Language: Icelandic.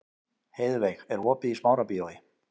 Heiðveig, er opið í Smárabíói?